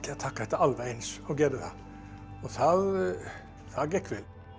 taka þetta alveg eins og gerði það það og það gekk vel